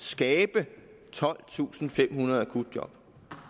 skabe tolvtusinde og femhundrede akutjob